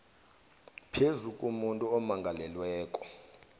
phezu komuntu omangalelweko